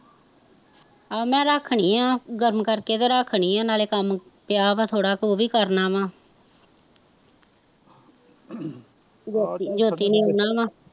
ਆਹੋ ਮੈਂ ਰੱਖਨੀ ਆ ਗਰਮ ਕਰਕੇ ਤੇ ਰੱਖਨੀ ਆ ਨਾਲੇ ਕੰਮ ਪਿਆ ਵਾਂ ਥੋੜਾ ਉਹ ਵੀ ਕਰਨਾ ਵਾ ਜੋਤੀ ਨੇ ਆਉਣਾ ਵਾ